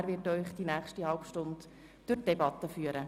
Er wird Sie für die nächste halbe Stunde durch die Debatte führen.